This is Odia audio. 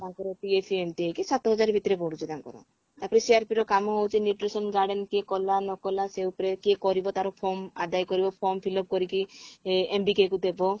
ତାଙ୍କର PF ଏମିତି ହେଇକି ସାତ ହଜାର ଭିତରେ ପଡୁଛି ତାଙ୍କର ତାପରେ CRP ର କାମ ହଉଛି nutrition garden କିଏ କଲା ନ କଲା ସେ ଉପରେ କିଏ କରିବ ତାର form ଆଦାୟ କରିବ form fill up କରିକି ଏ MBK କୁ ଦେବ